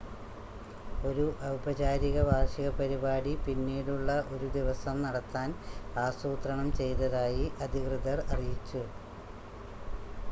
ഒരു ഔപചാരിക വാർഷിക പരിപാടി പിന്നീടുള്ള ഒരു ദിവസം നടത്താൻ ആസൂത്രണം ചെയ്‌തതായി അധികൃതർ അറിയിച്ചു